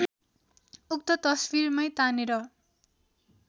उक्त तस्वीरमै तानेर